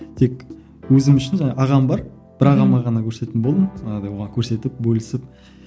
тек өзім үшін жаңағы ағам бар бір ағама ғана көрсететін болдым жаңағыдай оған көрсетіп бөлісіп